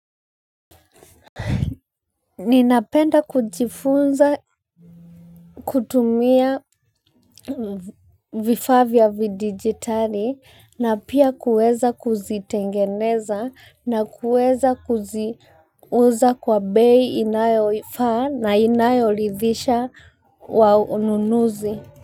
Ninapenda kujifunza kutumia vifaa vya vidijitali na pia kuweza kuzitengeneza na kuweza kuziuza kwa bei inayofaa na inayoridhisha wanunuzi.